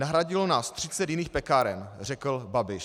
Nahradilo nás 30 jiných pekáren, řekl Babiš."